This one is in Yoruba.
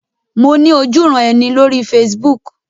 Mo ní ojúuran-ẹni lórí Facebook.